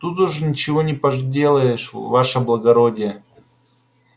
тут уж ничего не поделаешь ваше благородие